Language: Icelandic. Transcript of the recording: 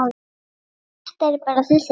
Þetta er bara þessi krabbi.